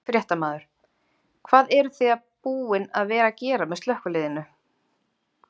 Fréttamaður: Hvað eruð þið búin að vera að gera með slökkviliðinu?